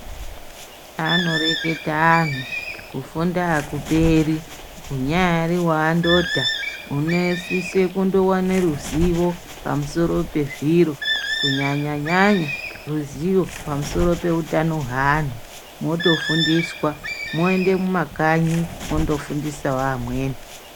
Anoreketa anhu, kufunda hakuperi. Unyaari waandodha unosise kundowane ruzivo pamusoro pezviro kunyanya-nyanya ruzivo pamusoro peutano hweanhu, mutofundiswa. Moende mumakanyi mondofundisawo amweni.